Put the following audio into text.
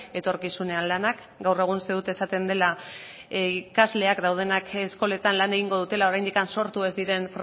etorkizunean lanak gaur egun uste dut esaten dela ikasleak daudenak eskoletan lan egingo dutela oraindik sortu ez diren